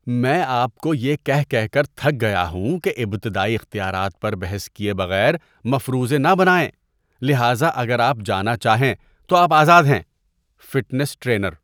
میں آپ کو یہ کہہ کہہ کر تھک گیا ہوں کہ ابتدائی اختیارات پر بحث کیے بغیر مفروضے نہ بنائیں، لہذا اگر آپ جانا چاہیں تو آپ آزاد ہیں۔ (فٹنس ٹرینر)